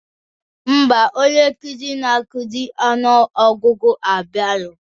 Ḿbà, onye nkuzi na akuzi ọnụ ọgụgụ abiarọ